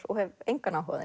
og hef engan áhuga á